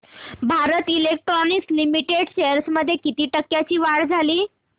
Bharat electronics limited shares मध्ये किती टक्क्यांची वाढ झाली